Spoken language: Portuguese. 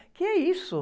O que é isso?